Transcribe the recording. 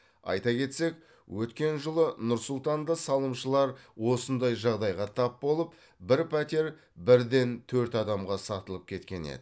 айта кетсек өткен жылы нұр сұлтанда салымшылар осындай жағдайға тап болып бір пәтер бірден төрт адамға сатылып кеткен еді